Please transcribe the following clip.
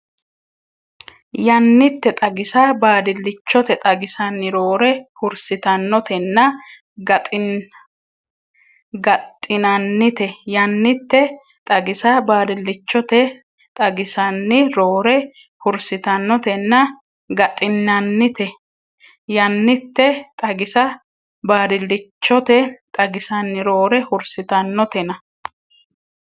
Yannitte xagisa baadillichote xagisanni roore hursitannotenna gaxxinannite Yannitte xagisa baadillichote xagisanni roore hursitannotenna gaxxinannite Yannitte xagisa baadillichote xagisanni roore hursitannotenna.